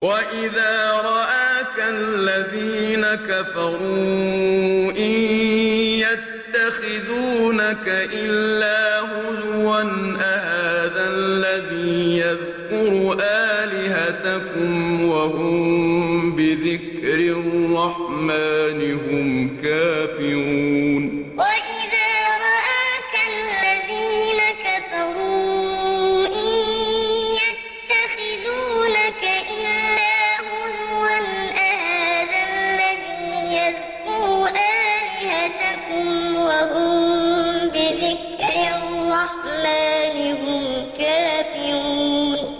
وَإِذَا رَآكَ الَّذِينَ كَفَرُوا إِن يَتَّخِذُونَكَ إِلَّا هُزُوًا أَهَٰذَا الَّذِي يَذْكُرُ آلِهَتَكُمْ وَهُم بِذِكْرِ الرَّحْمَٰنِ هُمْ كَافِرُونَ وَإِذَا رَآكَ الَّذِينَ كَفَرُوا إِن يَتَّخِذُونَكَ إِلَّا هُزُوًا أَهَٰذَا الَّذِي يَذْكُرُ آلِهَتَكُمْ وَهُم بِذِكْرِ الرَّحْمَٰنِ هُمْ كَافِرُونَ